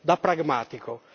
da pragmatico